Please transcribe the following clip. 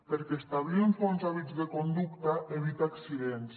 perquè establir uns bons hàbits de conducta evita accidents